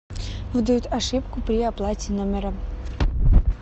выдает ошибку при оплате номера